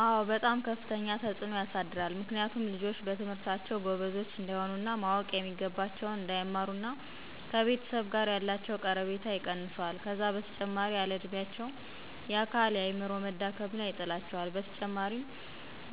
አዎ በጣም ከፍተኛ ተፅዕኖ ያሳድራል ምክንያቱም ልጆች በትምህርታቸው ጎበዞች እንዳይሆኑ እና ማወቅ የሚገባቸውን እንዳይማሩና ከቤተሰብ ጋ ያላቸው ቀረቤታ ይቀንሰዋል ከዛ በተጨማሪም ያለ እድሚያቸው የአካል የአዐምሮ መዳከም ላይ ይጥላቸዋል በተጨማሪም